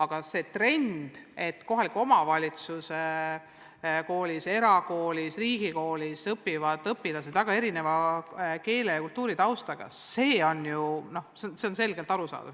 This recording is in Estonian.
Aga see trend, et kohaliku omavalitsuse koolis, erakoolis ja riigikoolis õpivad koos väga erineva keele- ja kultuuritaustaga õpilased, on ilmne.